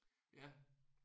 Ja